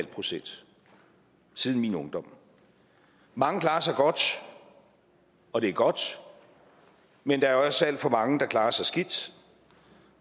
procent siden min ungdom mange klarer sig godt og det er godt men der er også alt for mange der klarer sig skidt